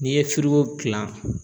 N'i ye firiko gilan